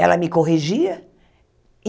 Ela me corrigia.